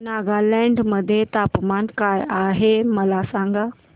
नागालँड मध्ये तापमान काय आहे मला सांगा